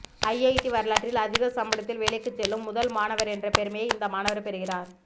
IIT வரலாற்றில் அதிக சம்பளத்தில் வேலைக்கு செல்லும் முதல் மாணவர் என்ற பெருமையை இந்த மாணவர் பெறுகிறார்